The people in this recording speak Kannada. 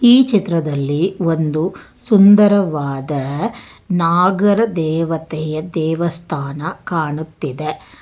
ಈ ಚಿತ್ರದಲ್ಲಿ ಒಂದು ಸುಂದರವಾದ ನಾಗರದೇವತೆಯ ದೇವಸ್ಥಾನ ಕಾಣುತ್ತಿದೆ.